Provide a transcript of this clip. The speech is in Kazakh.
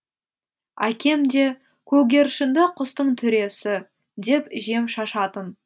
әкем де көгершінді құстың төресі деп жем шашатын